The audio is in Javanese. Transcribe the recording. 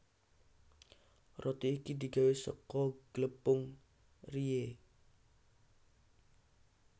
Roti iki digawé saka glepung rye